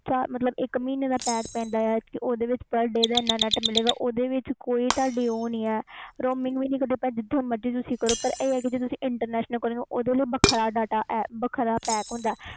ਮਤਲਬ ਇਕ ਮਹੀਨੇ ਦਾ pack ਪੈਂਦਾ ਓਹਦੇ ਵਿਚ per day ਦਾ data ਮਿਲੇ ਗਾ ਇਹਦੇ ਵਿਚ roaming ਨਹੀਂ ਕੱਟ ਦੀ ਤੁਸੀ ਪਾਰ ਆਹ ਆ ਕਿ ਤੁਸੀ internationl ਕਾਲ ਕਰੋ ਓਹਦੇ ਲਈ ਵੱਖਰਾ data pack ਹੁੰਦਾ ਆ